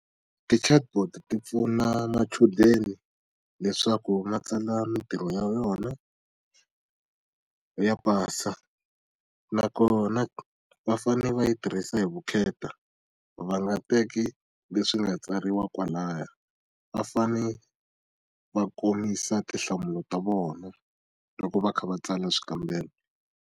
Ti-chatbot ti pfuna machudeni leswaku ma tsala mitirho ya vona, ya pasa. Nakona va fanele va yi tirhisa hi vukheta, va nga teki leswi nga tsariwa kwalaya. Va fanele va komisa tinhlamulo ta vona loko va kha va tsala swikambelo.